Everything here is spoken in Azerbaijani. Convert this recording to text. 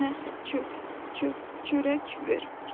Mənə çörək ver.